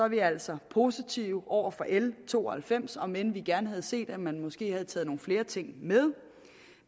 vi altså er positive over for l to og halvfems om end vi gerne havde set at man måske have taget nogle flere ting med